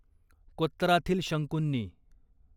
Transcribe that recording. कोत्तराथील शंकूंनी